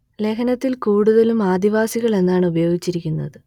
ലേഖനത്തിൽ കൂടുതലും ആദിവാസികൾ എന്നാണ് ഉപയോഗിച്ചിരിക്കുന്നത്